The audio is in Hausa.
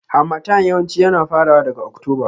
Harmattan yawanci yana farawa daga Oktoba.